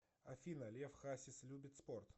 афина лев хасис любит спорт